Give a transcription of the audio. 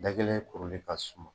Da kelen kuruli ka suma.